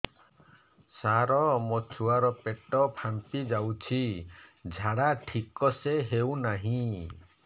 ସାର ମୋ ଛୁଆ ର ପେଟ ଫାମ୍ପି ଯାଉଛି ଝାଡା ଠିକ ସେ ହେଉନାହିଁ